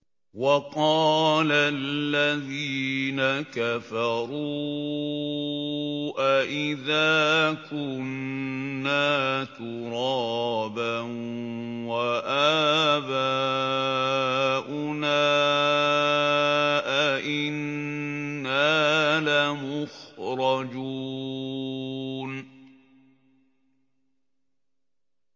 وَقَالَ الَّذِينَ كَفَرُوا أَإِذَا كُنَّا تُرَابًا وَآبَاؤُنَا أَئِنَّا لَمُخْرَجُونَ